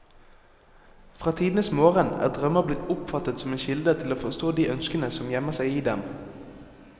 Fra tidenes morgen er drømmer blitt oppfattet som en kilde til å forstå de ønskene som gjemmer seg i dem.